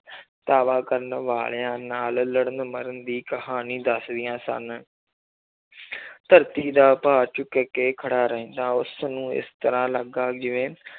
ਧਾਵਾ ਕਰਨ ਵਾਲਿਆਂ ਨਾਲ ਲੜਨ ਮਰਨ ਦੀ ਕਹਾਣੀ ਦੱਸਦੀਆਂ ਸਨ ਧਰਤੀ ਦਾ ਭਾਰ ਚੁੱਕ ਕੇ ਖੜਾ ਰਹਿੰਦਾ ਉਸਨੂੰ ਇਸ ਤਰ੍ਹਾਂ ਲੱਗਾ ਜਿਵੇਂ